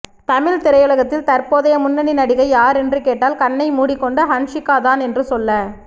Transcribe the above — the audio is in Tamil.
தமிழ்த் திரையுலகில் தற்போதைய முன்னணி நடிகை யார் என்று கேட்டால் கண்ணை மூடிக் கொண்டு ஹன்சிகாதான் என்று சொல்ல